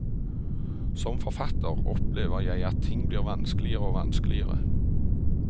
Som forfatter opplever jeg at ting blir vanskeligere og vanskeligere.